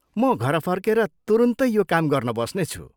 म घर फर्केर तुरुन्तै यो काम गर्न बस्नेछु।